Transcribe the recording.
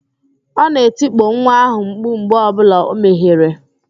Ọ na-etikpo nwa ahụ mkpu mgbe ọbụla o mehiere